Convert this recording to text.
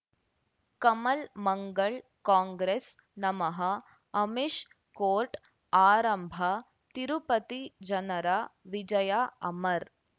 ಕಮಲ್ ಮಂಗಳ್ ಕಾಂಗ್ರೆಸ್ ನಮಃ ಅಮಿಷ್ ಕೋರ್ಟ್ ಆರಂಭ ತಿರುಪತಿ ಜನರ ವಿಜಯ ಅಮರ್